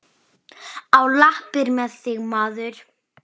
Á lappir með þig, maður!